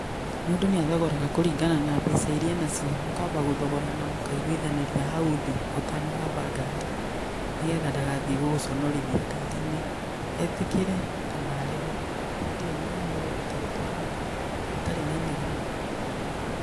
Mũndũ nĩ athogoraga kũringana na mbeca iria enacio, mũkamba gũthogorana mũkaiguithanĩria hau thĩ ũtanahamba ngari, nĩgetha ndagathiĩ gũgũconorithia ngari-inĩ. Etĩkĩre kana arege, hĩndĩ ĩyo nĩ mũkũhota gũtwarana mũtarĩ na inegene.